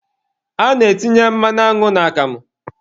A na-etinye mmanụ aṅụ n'akamụ